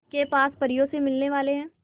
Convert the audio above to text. के पास परियों से मिलने वाले हैं